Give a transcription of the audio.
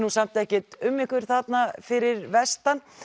samt ekkert um ykkur þarna fyrir vestan